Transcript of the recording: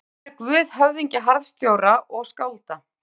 Hann væri guð höfðingja, harðstjóra og skálda.